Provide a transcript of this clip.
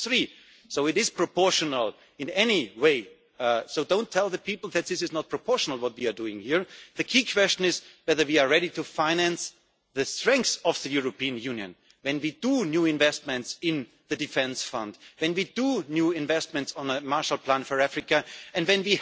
is 1.3. So it is proportional in every way, so don't tell the people that this is not proportional what we are doing here the key question is whether we are ready to finance the strength of the European Union when we make new investments in the defence fund, when we make new investments on a Marshall Plan for Africa and